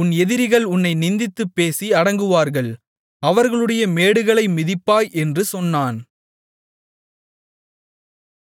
உன் எதிரிகள் உன்னை நிந்தித்துப் பேசி அடங்குவார்கள் அவர்களுடைய மேடுகளை மிதிப்பாய் என்று சொன்னான்